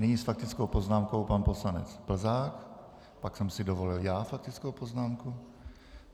Nyní s faktickou poznámkou pan poslanec Plzák, pak jsem si dovolil já faktickou poznámku.